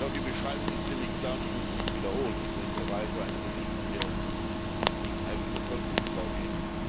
Die Beschreibung ist ziemlich klar ich muss sie nicht wiederholen in welcher Weise ein Regime hier gegen die eigene Bevölkerung vorgeht.